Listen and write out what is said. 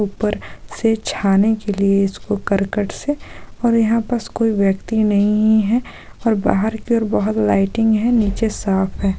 ऊपर से झाने के लिए इसको कर्कट से और यहा बस कोई व्यक्ति नहीं है और बाहर की और बहुत लाइटिंग है नीचे सांप है।